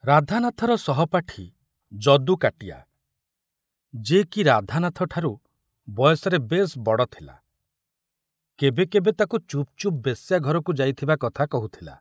ରାଧାନାଥର ସହପାଠୀ ଯଦୁ କାଟିଆ, ଯେ କି ରାଧାନାଥଠାରୁ ବୟସରେ ବେଶ ବଡ଼ ଥିଲା, କେବେ କେବେ ତାକୁ ଚୁପ ଚୁପ ବେଶ୍ୟା ଘରକୁ ଯାଇଥିବା କଥା କହୁଥିଲା।